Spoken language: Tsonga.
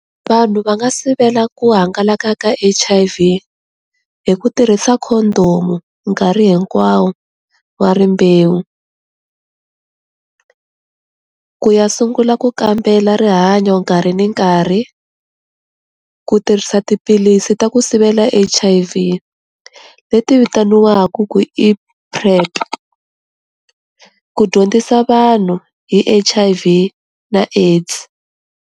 Vanhu va nga sivela ku hangalaka ka H_I_V hi ku tirhisa khodomu nkarhi hinkwawo wa rimbewu ku ya sungula ku kambela rihanyo nkarhi ni nkarhi, ku tirhisa tiphilisi ta ku sivela H_I_V leti vitaniwaka ku i prep, ku dyondzisa vanhu hi H_I_V na AIDS.